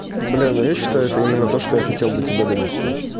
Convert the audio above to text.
блин ну я считаю это именно то что я хотел до тебя донести